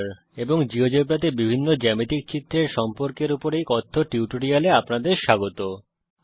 এবং জীয়োজেব্রাতে বিভিন্ন জ্যামিতিক চিত্রের সম্পর্কের উপর এই কথ্য টিউটোরিয়াল এ আপনাদের স্বাগত জানাই